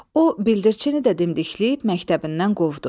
O bildirçini də dimdikləyib məktəbindən qovdu.